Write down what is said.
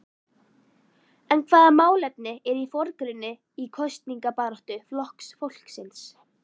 En hvaða málefni eru í forgrunni í kosningabaráttu Flokks fólksins?